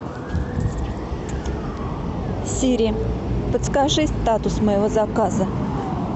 сири подскажи статус моего заказа